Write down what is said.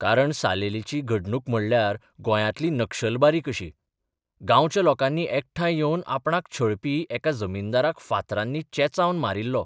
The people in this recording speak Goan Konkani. कारण सालेलीची घडणूक म्हणल्यार गोंयांतली नक्षलबारी कशी गांवच्या लोकांनी एकठांय येवन आपणाक छळपी एका जमीनदाराक फांतरांनी चेंचावन मारिल्लो.